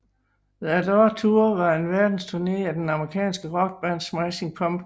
The Adore Tour var en verdensturné af det amerikanske rockband Smashing Pumpkins